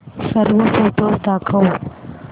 सर्व फोटोझ दाखव